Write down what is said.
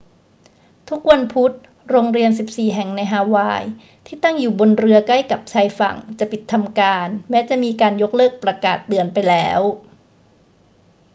ทุกวันพุธ โรงเรียน 14 แห่งในฮาวายที่ตั้งอยู่บนหรือใกล้กับชายฝั่งจะปิดทำการแม้จะมีการยกเลิกประกาศเตือนไปแล้ว